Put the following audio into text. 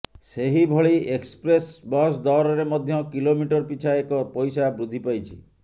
ସେହିଭଳି express bus ଦରରେ ମଧ୍ୟ କିଲୋମିଟର ପିଛା ଏକ ପଇସା ବୃଦ୍ଧି ପାଇଛି